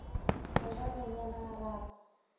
go ja bonyane ga raro